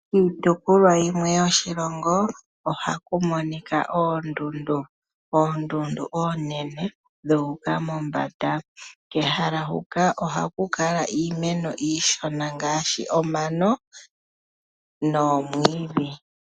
Kiitopolwa yimwe yoshilongo ohaku monika oondundu, oondundu oonene dha uka mombanda. Kehala huka ohaku kala iimeno iishona ngaashi omano noomwiidhi.